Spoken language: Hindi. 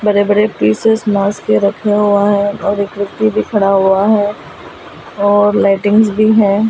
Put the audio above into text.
बड़े-बड़े पीसेस मास के रखा हुआ है और व्यक्ती भी खड़ा हुआ है और लाइटिंग भी है।